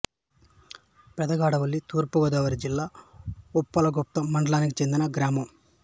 పెదగాడవిల్లి తూర్పు గోదావరి జిల్లా ఉప్పలగుప్తం మండలానికి చెందిన గ్రామం